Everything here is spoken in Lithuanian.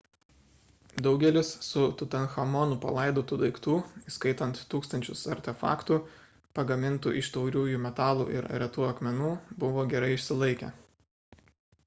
daugelis su tutanchamonu palaidotų daiktų įskaitant tūkstančius artefaktų pagamintų iš tauriųjų metalų ir retų akmenų buvo gerai išsilaikę